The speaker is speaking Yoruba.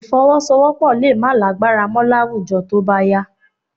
Ìfọwọ́sowọ́́pọ̀ lè má lágbára mọ́ láwùjọ tó bá yá